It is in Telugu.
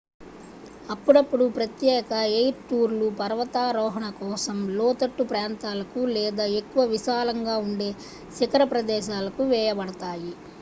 అప్పుడప్పుడూ ప్రత్యేక ఎయిర్ టూర్లు పర్వతారోహణ కోసం లోతట్టు ప్రాంతాలకు లేదా ఎక్కువ విశాలంగా ఉండే శిఖర ప్రదేశాలకు వేయబడతాయి